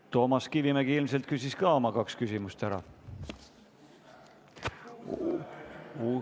Toomas Kivimägi ilmselt küsis ka oma kaks küsimust ära.